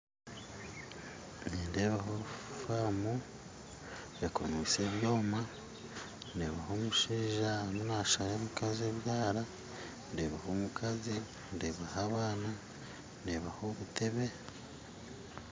Nindeeaho faamu ekomeise ebyoma ndeebaho omushaija arimu nasara omukazi ebyara ndeebaho omukazi ndeebaho abaana ndeebaho obutebe